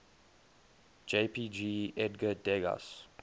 jpg edgar degas